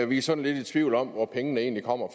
vi er sådan lidt i tvivl om hvor pengene egentlig kommer